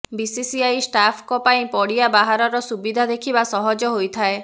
BCCI staff ଙ୍କ ପାଇଁ ପଡିଆ ବାହାରର ସୁବିଧା ଦେଖିବା ସହଜ ହୋଇଯାଏ